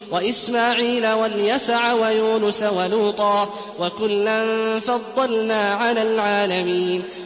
وَإِسْمَاعِيلَ وَالْيَسَعَ وَيُونُسَ وَلُوطًا ۚ وَكُلًّا فَضَّلْنَا عَلَى الْعَالَمِينَ